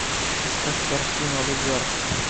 искать картину олигарх